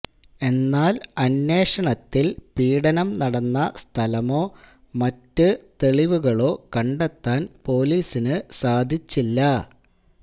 എന്നാല് അന്വേഷണത്തില് പീഡനം നടന്ന സ്ഥലമോ മറ്റ് തെളിവുകളോ കണ്ടെത്താന് പോലീസിന് സാധിച്ചില്ല